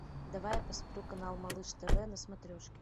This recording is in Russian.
давай я посмотрю канал малыш тв на смотрешке